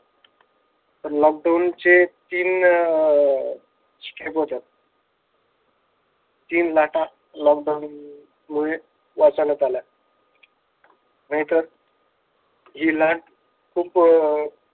तर lockdown चे तीन अं stage होतात. तीन लाटा lockdown मुळे वाचवण्यात आल्या. नाहीतर हि लाट खूप